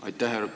Aitäh!